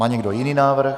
Má někdo jiný návrh?